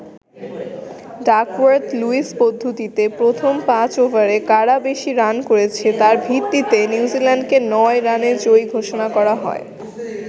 Duckworth-Lewis পদ্ধতিতে প্রথম ৫ ওভারে কারা বেশি রান করেছে তার ভিত্তিতে নিউজিল্যান্ডকে ৯ রানে জয়ী ঘোষণা করা হয়।